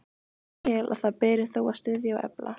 Ég tel, að það beri þó að styðja og efla,